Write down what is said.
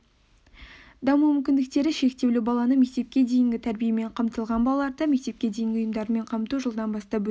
даму мүмкіндіктері шектеулі баланың мектепке дейінгі тәрбиемен қамтылған балаларды мектепке дейінгі ұйымдармен қамту жылдан бастап өсіп